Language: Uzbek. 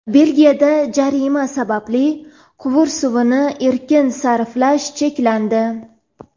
Belgiyada jazirama sababli quvur suvini erkin sarflash cheklandi.